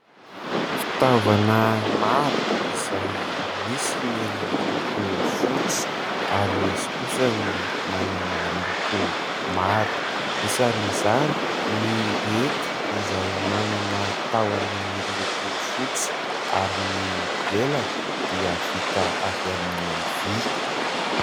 Fitaovana maro izay misy ny miloko fotsy, ary misy kosa ny manana loko maro; isan'izany ny hety izay manana tahony miloko fotsy, ary ny lelany dia vita avy amin'ny vy.